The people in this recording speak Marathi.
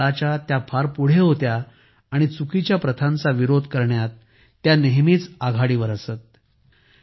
त्या त्यांच्या काळाच्या फार पुढे होत्या आणि चुकीच्या प्रथांचा विरोध करण्यात त्या नेहमीच आघाडीवर असत